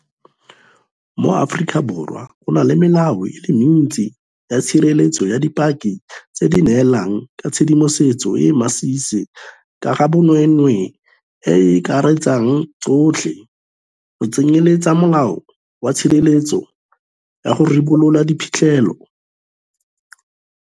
Mo Aforika Borwa go na le melao e le mentsi ya tshireletso ya dipaki tse di neelang ka tshedimosetso e e masisi ka ga bonweenwee e e akaretsang tsotlhe, go tsenyeletsa Molao wa Tshireletso ya go Ribolola Diphitlhela, Molao wa Merero ya Badiri, Molao wa Dikhamphani, Molao wa Tshireletso ya go Tlhokofadiwa, le Molaotheo ka bo ona.